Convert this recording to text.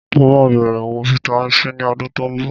Mo máa bẹ̀rẹ̀ òwò Vitamin C ní ọdún tó ń bọ̀